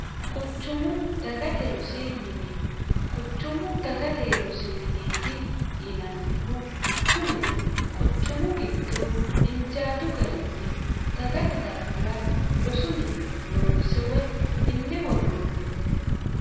quchumu dagate rosi mine quchumu dagate rosi mineeti yinannihu kunino quchumu giddo injaadu garinni dagate daafira rosu mine loonse woy minne worroonniho.